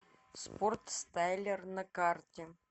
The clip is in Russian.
спортстайлер на карте